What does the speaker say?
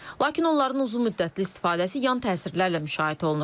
Lakin onların uzunmüddətli istifadəsi yan təsirlərlə müşayiət olunur.